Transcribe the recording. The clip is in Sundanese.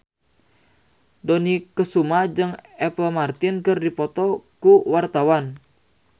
Dony Kesuma jeung Apple Martin keur dipoto ku wartawan